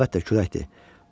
Hə, əlbəttə küləkdir.